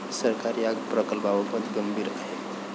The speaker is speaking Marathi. सरकार या प्रकल्पाबाबत गंभीर आहे.